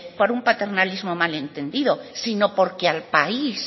por un paternalismo mal entendido sino porque al país